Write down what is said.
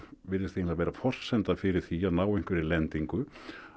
virðist eiginlega vera forsenda fyrir því að ná einhverri lendingu